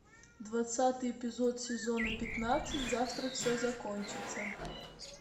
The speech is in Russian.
двадцатый эпизод сезона пятнадцать завтра все закончится